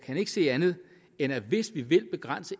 kan ikke se andet end at hvis vi vil begrænse